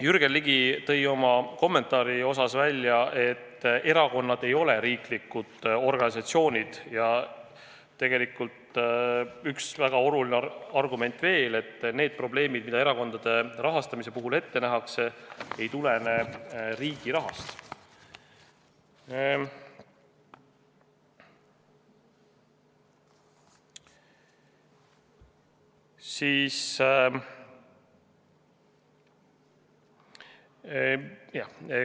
Jürgen Ligi tõi oma kommentaaris välja, et erakonnad ei ole riiklikud organisatsioonid, ja tegelikult üks väga oluline argument on veel: need probleemid, mida erakondade rahastamise puhul võimalikuks peetakse, ei tulene riigi rahast.